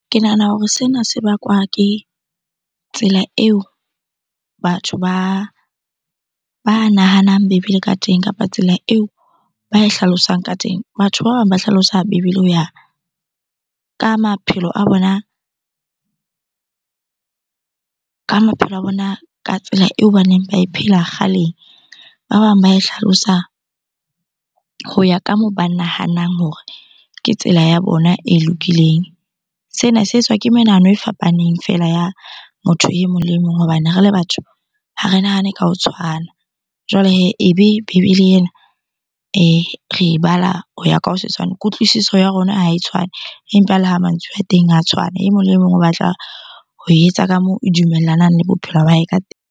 Ke nahana hore sena se bakwa ke tsela eo batho ba nahanang bebele ka teng kapa tsela eo ba e hlalosang ka teng. Batho ba bang ba hlalosa bebele ho ya ka maphelo a bona, ka maphelo a bona ka tsela eo baneng ba e phela kgaleng. Ba bang ba e hlalosa ho ya ka moo ba nahanang hore ke tsela ya bona e lokileng. Sena se etswa ke menahano e fapaneng fela ya motho e mong le mong hobane re le batho ha re nahane ka ho tshwana. Jwale hee, ebe bebele ena re e bala ho ya ka ho se tshwane. Kutlwisiso ya rona ha e tshwane empa le ha mantswe a teng a tshwana e mong le mong o batla ho e etsa ka moo e dumellanang le bophelo ba hae ka .